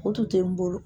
O tun tɛ n bolo